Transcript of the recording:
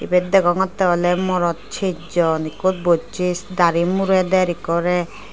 eyot degonte ole morot chesjon eko bujse dari mure der okore.